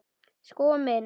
Sko minn.